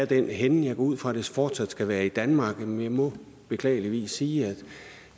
den henne jeg går ud fra at det fortsat skal være i danmark men jeg må beklageligvis sige